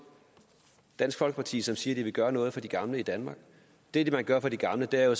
dansk folkeparti som siger at de vil gøre noget for de gamle i danmark og det man gør for de gamle er jo